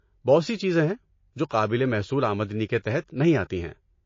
بہت سی چیزیں ہیں جو قابل محصول آمدنی کے تحت نہیں آتی ہیں۔